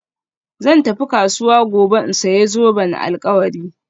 Zan tafi kasuwa gobe in sayi zoben alkawari